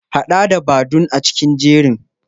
Haɗa da Badun a cikin jerin.